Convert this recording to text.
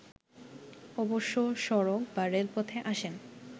অবশ্য সড়ক বা রেলপথে আসেন